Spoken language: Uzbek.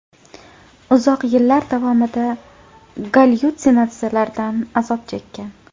uzoq yillar davomida gallyutsinatsiyalardan azob chekkan.